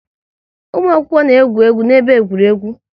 Ụmụ akwụkwọ na-egwu egwu n'ebe egwuregwu